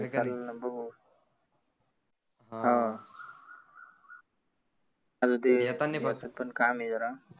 चालनं ना बघु हां आरे ते येतानी फक्त काम आहे जरा